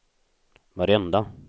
varenda